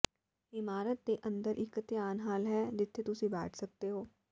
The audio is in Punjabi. ਇਮਾਰਤ ਦੇ ਅੰਦਰ ਇੱਕ ਧਿਆਨ ਹਾਲ ਹੈ ਜਿੱਥੇ ਤੁਸੀਂ ਬੈਠ ਸਕਦੇ ਹੋ